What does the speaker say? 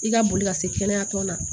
I ka boli ka se kɛnɛya tɔn na